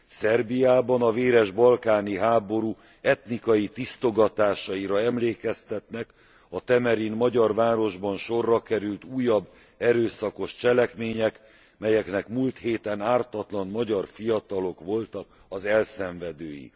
Szerbiában a véres balkáni háború etnikai tisztogatásaira emlékeztetnek a Temerin magyar városban sorra került, újabb erőszakos cselekmények, melyeknek múlt héten ártatlan magyar fiatalok voltak az elszenvedői.